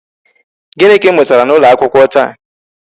Gịnị ka ị mụtara n'ụlọ akwụkwọ taa?